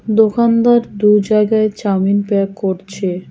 দোকানদার দু জায়গায় চাউমিন প্যাক করছে।